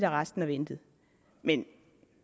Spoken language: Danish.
arresten og ventet men